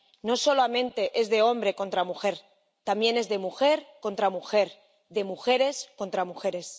no solamente es de hombre contra mujer, también es de mujer contra mujer, de mujeres contra mujeres.